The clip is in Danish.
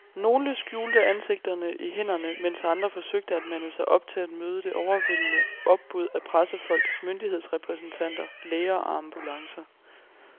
Nogle skjulte ansigterne i hænderne, mens andre forsøgte at mande sig op til at møde det overvældende opbud af pressefolk, myndighedsrepræsentanter, læger og ambulancer.